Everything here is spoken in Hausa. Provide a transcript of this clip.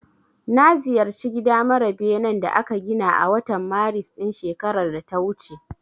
Na ziyarci gida mara benen da aka gina a watan Maris ɗin shekarar da ta wuce.